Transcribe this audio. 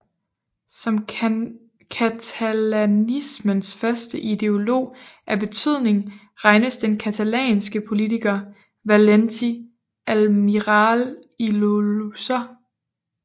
Som catalanismens første ideolog af betydning regnes den catalanske politiker Valentí Almirall i Llozer